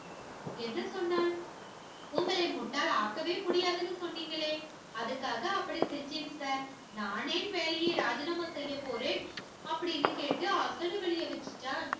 என்ன சொன்னான் உங்களை முட்டாளாக்கவே முடியாதுன்னு சொன்னீங்களே அதுக்காக அப்படி செஞ்சேன் சார். நான் ஏன் வேலையை ராஜினாமா செய்யப் போறேன் அப்படின்னு கேட்டு அசடு வழிய வச்சுட்டான்.